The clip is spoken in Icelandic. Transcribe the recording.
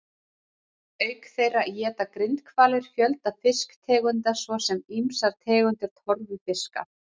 Auk þeirra éta grindhvalir fjölda fisktegunda svo sem ýmsar tegundir torfufiska.